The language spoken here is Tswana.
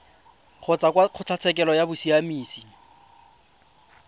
kgotsa kwa kgotlatshekelo ya bosiamisi